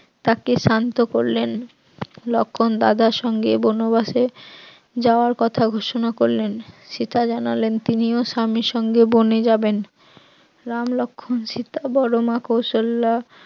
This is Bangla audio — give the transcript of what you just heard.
তাকে শান্ত করলেন, লক্ষণ দাদার সঙ্গে বনবাসে যাওয়ার কথা ঘোষণা করলেন, সীতা জানালেন তিনিও স্বামীর সঙ্গে বনে যাবেন, রাম লক্ষণ সীতা বড়মা কৌশল্যা